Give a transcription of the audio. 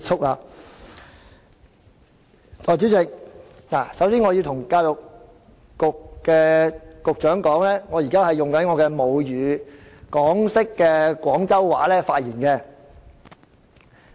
代理主席，首先我要告訴教育局局長，我現在以我的母語港式廣州話發言。